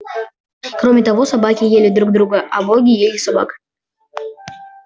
кроме того собаки ели друг друга а боги ели собак